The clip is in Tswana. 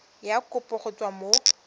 ya kopo go tswa mo